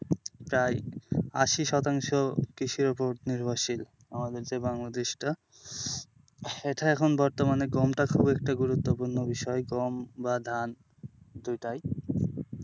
তাই আশি শতাংশ কৃষির ওপর নির্ভরশীল আমাদের যে বাংলাদেশটা এটা এখন বর্তমানে গমটা খুবই একটি গুরুত্বপূর্ণ বিষয় গম বা ধান দুইটাই।